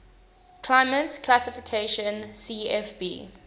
climate classification cfb